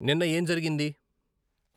నిన్న ఏం జరిగింది